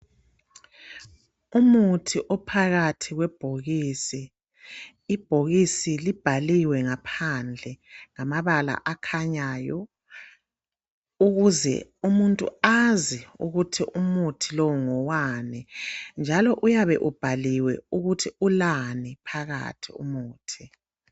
Umuthi ophakathi kwebhokisi ibhokisi libhaliwe ngaphandle ngamabala akhanyayo ukuze umuntu azi ukuthi umuthi lo ngowani njalo uyabe ubhaliwe ukuthi ulani phakathi umuthi.